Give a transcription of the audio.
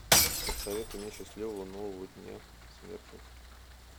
посоветуй мне счастливого нового дня смерти